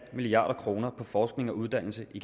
milliard kroner på forskning og uddannelse i